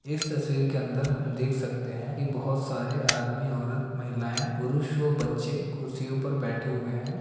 इस तस्वीर के अंदर हम देख सकते हैं कि बहुत सारे आदमी औरत महिलायें पुरुष व बच्चे कुर्सियों पर बैठे हुए हैं।